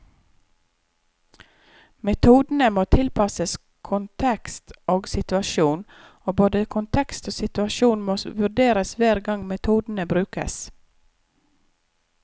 Metodene må tilpasses kontekst og situasjon, og både kontekst og situasjon må vurderes hver gang metodene brukes.